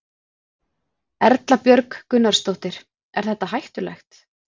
Erla Björg Gunnarsdóttir: Er þetta hættulegt?